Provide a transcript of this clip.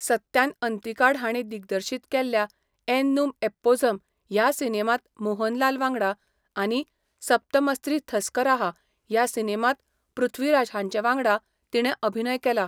सत्यान अंतिकाड हांणी दिग्दर्शीत केल्ल्या एननुम एप्पोझम ह्या सिनेमांत मोहनलाल वांगडा आनी सप्तमस्री थस्कराहा ह्या सिनेमांत पृथ्वीराज हांचे वांगडा तिणें अभिनय केला.